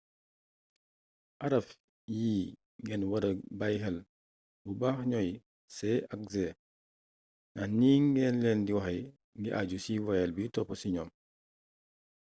araf yi ngeen wara bàyyi xel bu baax ñooy c ak g ndax ni ngeen leen di waxee ngi aju ci voyelle bi topp ci ñoom